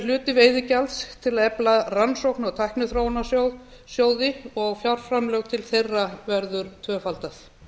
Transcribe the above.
hluti veiðigjalda til að efla rannsókna og tækniþróunarsjóði og fjárframlög til þeirra verða tvöfölduð